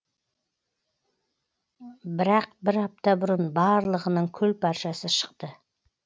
бірақ бір апта бұрын барлығының күл паршасы шықты